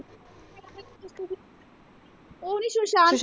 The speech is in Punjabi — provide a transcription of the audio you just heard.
ਉਹ ਨੀ ਸ਼ੂਸ਼ਾਂਤ।